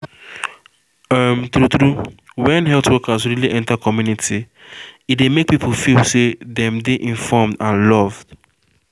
um true true when health workers really enter community e dey make people feel say um dem dey informe and love